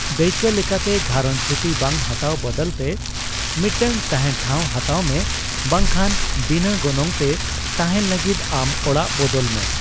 ᱫᱟᱹᱭᱠᱟᱹ ᱞᱮᱠᱟᱛᱮ, ᱜᱷᱟᱨᱚᱧᱡ ᱪᱷᱩᱴᱤ ᱵᱟᱝ ᱦᱟᱛᱟᱣ ᱵᱟᱫᱟᱞᱛᱮ, ᱢᱤᱫᱴᱟᱝ ᱛᱟᱦᱮᱸᱱ ᱴᱷᱟᱹᱣ ᱦᱟᱛᱟᱣ ᱢᱮ ᱵᱟᱝ ᱠᱷᱟᱱ ᱵᱤᱱᱟᱹᱜᱚᱱᱚᱝ ᱛᱮ ᱛᱟᱦᱮᱸᱱ ᱞᱟᱹᱜᱤᱫ ᱟᱢ ᱚᱲᱟᱜ ᱵᱚᱫᱚᱞ ᱢᱮ ᱾